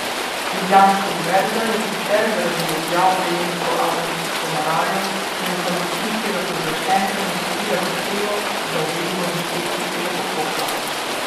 Ljubljanska univerza je sicer zaradi objav prejemnikov avtorskih honorarjev na informacijskega pooblaščenca naslovila zahtevo za uvedbo inšpekcijskega postopka.